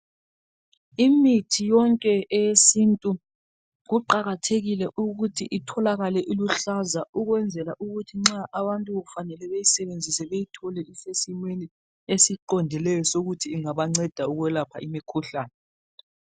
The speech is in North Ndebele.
imithi yonke eyesintu kuqakatheikile ukuthi itholakale iluhlaza ukwenzela ukuthi nxa abantu kufanele beyisebenzise beyithole isesimweni esiqondileyo sokuthi ingabanceda ukulapha imikhuhlane